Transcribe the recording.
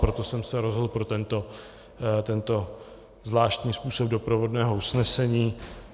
Proto jsem se rozhodl pro tento zvláštní způsob doprovodného usnesení.